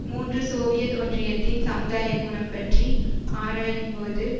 மூன்றுசோவியத் ஒன்றியத்தின் சமுதாய குணம் பற்றி ஆராயும் போது